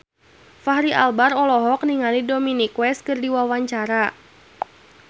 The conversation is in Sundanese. Fachri Albar olohok ningali Dominic West keur diwawancara